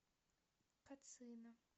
кацина